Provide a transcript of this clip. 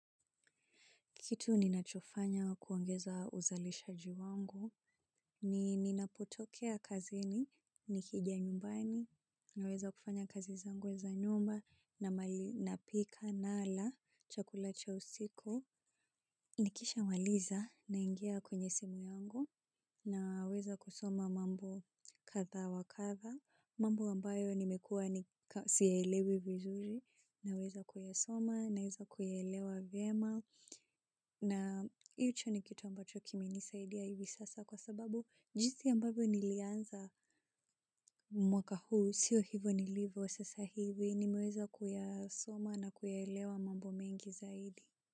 Kitu ni nachofanya kuongeza uzalishaji wangu, ni ninapotokea kazini, nikijayumbani, naweza kufanya kazizangu za nyumba, na mali napika, nala, chakula cha usiku. Nikisha maliza na ingia kwenye simu yangu na weza kusoma mambo katha wakatha, mambo ambayo nimekua siyaelewi vizuri na weza kuyasoma na weza kuyaelewa vyema na hicho ni kitu ambacho kimenisaidia hivi sasa kwa sababu jinsi ambavyo nilianza mwaka huu, sio hivo nilivyo sasa hivi, nimeweza kuyasoma na kuyaelewa mambo mengi zaidi.